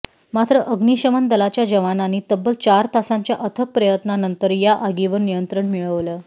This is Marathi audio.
मात्र अग्निशमन दलाच्या जवानांनी तब्बल चार तासांच्या अथक प्रयत्नानंतर या आगीवर नियंत्रण मिळवलं